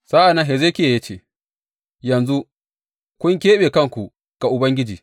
Sa’an nan Hezekiya ya ce, Yanzu kun keɓe kanku ga Ubangiji.